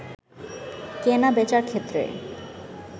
কেনা-বেচার ক্ষেত্রে